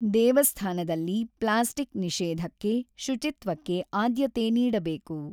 ದೇವಸ್ಥಾನದಲ್ಲಿ ಪ್ಲಾಸ್ಟಿಕ್ ನಿಷೇಧಕ್ಕೆ, ಶುಚಿತ್ವಕ್ಕೆ ಆದ್ಯತೆ ನೀಡಬೇಕು.